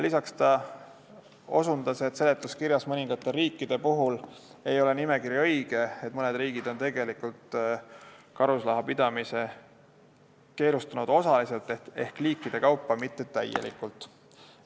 Lisaks osutas ta, et seletuskirjas ei ole mõningad riigid nimekirjas õiged, mõned riigid on karusloomade pidamise keelustanud osaliselt ehk liikide kaupa, mitte täielikult.